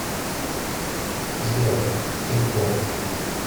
сбер кей поп